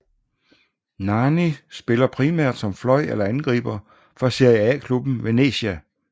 Nani spiller primært som fløj eller angriber for Serie A klubben Venezia